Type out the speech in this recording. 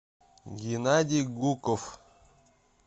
геннадий гуков